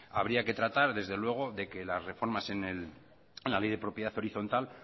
habría que tratar desde luego de que las reformas en la ley de propiedad horizontal